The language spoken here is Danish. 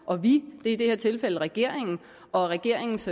og vi er i det tilfælde regeringen og regeringens